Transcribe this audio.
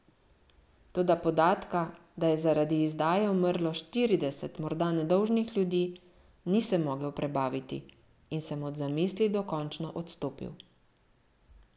Toda podatka, da je zaradi izdaje umrlo štirideset morda nedolžnih ljudi, nisem mogel prebaviti in sem od zamisli dokončno odstopil.